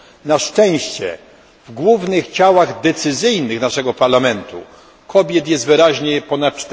Na szczęście w głównych ciałach decyzyjnych naszego parlamentu kobiet jest wyraźnie ponad